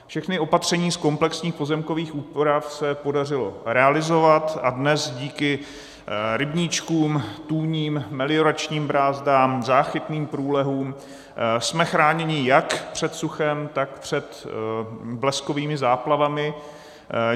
Všechna opatření z komplexních pozemkových úprav se podařilo realizovat a dnes díky rybníčkům, tůním, melioračním brázdám, záchytným průlehům jsme chráněni jak před suchem, tak před bleskovými záplavami.